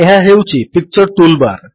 ଏହା ହେଉଛି picture tool bar